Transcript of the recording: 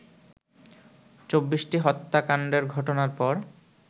২৪টি হত্যাকাণ্ডের ঘটনার পর